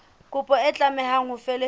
kopo e tlameha ho felehetswa